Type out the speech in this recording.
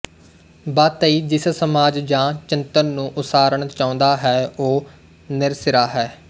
ਬਾਤੱਈ ਜਿਸ ਸਮਾਜ ਜਾਂ ਚਿੰਤਨ ਨੂੰ ਉਸਾਰਨਾ ਚਾਹੁੰਦਾ ਹੈ ਉਹ ਨਿਰਸਿਰਾ ਹੈ